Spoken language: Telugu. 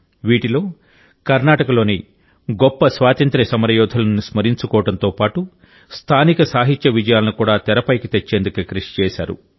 వీటిలో కర్ణాటకలోని గొప్ప స్వాతంత్య్ర సమరయోధులను స్మరించుకోవడంతో పాటు స్థానిక సాహిత్య విజయాలను కూడా తెరపైకి తెచ్చేందుకు కృషి చేశారు